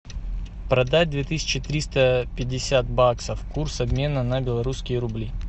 продать две тысячи триста пятьдесят баксов курс обмена на белорусские рубли